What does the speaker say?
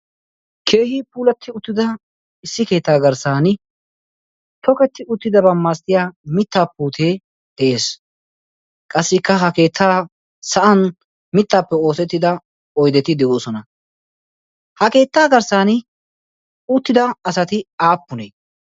Keehi puulatti uttida issi keettaa garssan toketti uttidabaa malatiya mittaa putee de'ees. Qassikka ha keettaa sa'an mittaappe oosettida oydeti de'oosona. Ha keettaa garssan uttida asati aappunee?